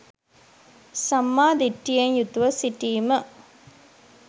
සම්මා දිට්ඨියෙන් යුතුව සිටීම